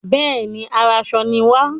Bẹẹni, aránṣọ ni wa.